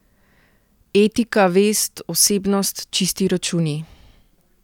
Etika, vest, osebnost, čisti računi?